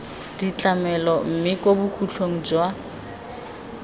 ditlamelo mme kwa bokhutlong jwa